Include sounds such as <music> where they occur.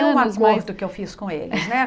<unintelligible> um acordo que eu fiz com eles, né?